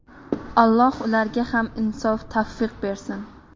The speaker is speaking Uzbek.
Alloh ularga ham insof‑tavfiq bersin!